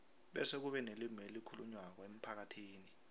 bese kube nelimi elikhulunywako emphakathini